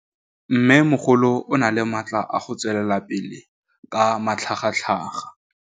Mmêmogolo o na le matla a go tswelela pele ka matlhagatlhaga.